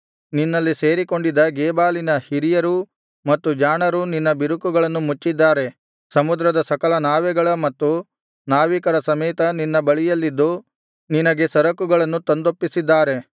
ನಿನ್ನಲ್ಲಿ ಸೇರಿಕೊಂಡಿದ್ದ ಗೇಬಾಲಿನ ಹಿರಿಯರೂ ಮತ್ತು ಜಾಣರೂ ನಿನ್ನ ಬಿರುಕುಗಳನ್ನು ಮುಚ್ಚಿದ್ದಾರೆ ಸಮುದ್ರದ ಸಕಲ ನಾವೆಗಳ ಮತ್ತು ನಾವಿಕರ ಸಮೇತ ನಿನ್ನ ಬಳಿಯಲ್ಲಿದ್ದು ನಿನಗೆ ಸರಕುಗಳನ್ನು ತಂದೊಪ್ಪಿಸಿದ್ದಾರೆ